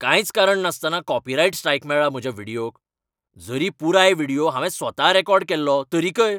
कांयच कारण नासतना कॉपीराइट स्ट्राइक मेळ्ळा म्हज्या व्हिडियोक. जरी पुराय व्हिडियो हांवें स्वता रेकॉर्ड केल्लो, तरीकय.